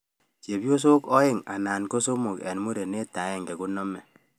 Chepyosok aeng anan somok eng murenet aenge koname